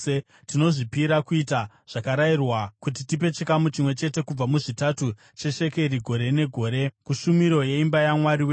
“Tinozvipira kuita zvakarayirwa kuti tipe chikamu chimwe chete kubva muzvitatu cheshekeri gore negore kushumiro yeimba yaMwari wedu: